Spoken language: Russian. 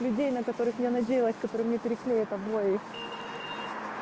людей на которых я надеялась которые мне переклеят обои